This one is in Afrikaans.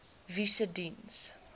wie se diens